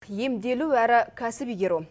емделу әрі кәсіп игеру